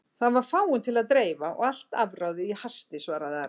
Það var fáum til að dreifa og allt afráðið í hasti, svaraði Ari.